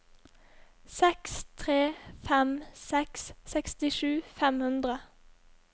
seks tre fem seks sekstisju fem hundre